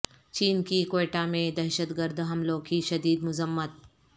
چین کی کوئٹہ میں دہشت گرد حملوں کی شدید مذمت